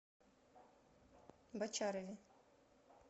бочарове